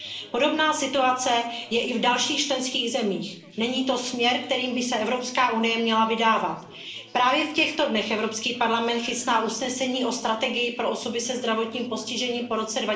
Podobná situace je i v dalších členských zemích. Není to směr, kterým by se Evropská unie měla vydávat. Právě v těchto dnech Evropský parlament chystá usnesení o strategii pro osoby se zdravotním postižením po